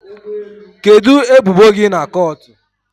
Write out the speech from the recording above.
Kedu ebubo gi na kọọtụ?